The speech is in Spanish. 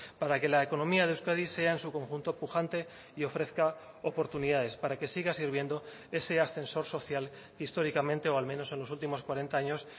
para que la economía de euskadi sea en su conjunto pujante y ofrezca oportunidades para que siga sirviendo ese ascensor social históricamente o al menos en los últimos cuarenta años